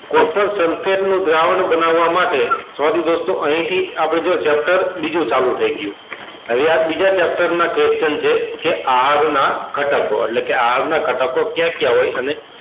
નું દ્રાવણ બનવવા માટે sorry દોસ્તો અહી થી આપડે જો chapter બીજું ચાલુ થઇ ગયું હવે આ બીજા chapter ના question કે આહારો ના ઘટકો એટલે કે આહારો ના ઘટકો કયા કયા હોય અને